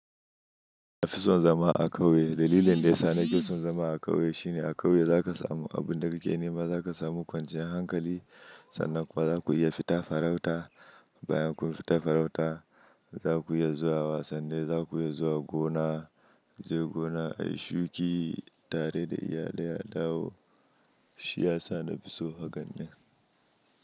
Na fi son zama a ƙauye. Dalilin da ya sa na fi son zama a ƙauye shine a ƙauye za ka samu abun da kike nema, za ka samu kwanciyar hankali sannan kuwa za ku iya fita farauta. Bayan kun fita farauta za ku iya zuwa wasanni, za ku iya zuwa gona, je gona a yi shuki tare da iyalai a dawo. Shi ya sa na fi so hakan nan.